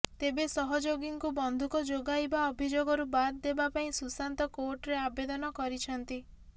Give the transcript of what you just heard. ତେବେ ସହଯୋଗୀଙ୍କୁ ବନ୍ଧୁକ ଯୋଗାଇବା ଅଭିଯୋଗରୁ ବାଦ୍ ଦେବା ପାଇଁ ସୁଶାନ୍ତ କୋର୍ଟରେ ଆବେଦନ କରିଛନ୍ତି